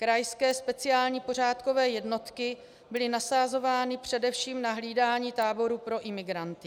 Krajské speciální pořádkové jednotky byly nasazovány především na hlídání táborů pro imigranty.